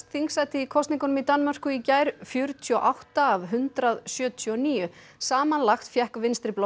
þingsæti í kosningum í Danmörku í gær fjörutíu og átta af hundrað sjötíu og níu samanlagt fékk